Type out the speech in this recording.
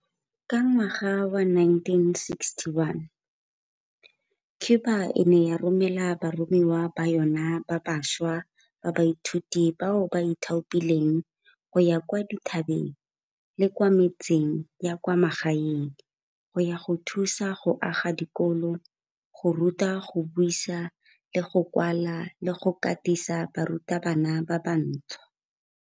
Ka ngwaga wa 1961, Cuba e ne ya romela baromiwa ba yona ba bašwa ba baithuti bao ba ithaopileng go ya kwa dithabeng le kwa metseng ya kwa magaeng go ya go thusa go aga dikolo, go ruta go buisa le go kwala le go katisa barutabana ba bantšhwa.